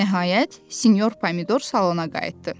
Nəhayət, sinyor Pomidor salona qayıtdı.